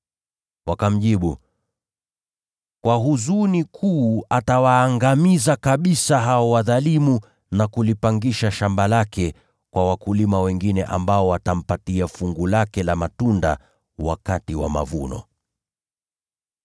Wakamjibu, “Kwa huzuni kuu atawaangamiza kabisa hao wadhalimu na kulipangisha shamba lake la mizabibu kwa wakulima wengine ambao watampatia fungu lake la matunda wakati wa mavuno.”